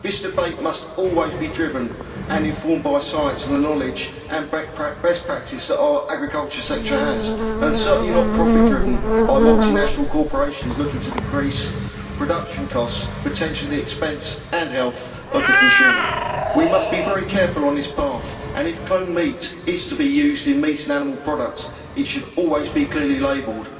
This debate must always be driven and informed by science and the knowledge and best practice that our agriculture sector has, and certainly not profit driven by multinational corporations looking to decrease production costs, potentially at the expense and health of the consumer. We must be very careful on this path, and if cloned meat is to be used in meats and animal products, it should always be clearly labelled